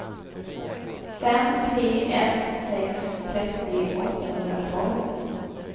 fem tre ett sex trettio åttahundratolv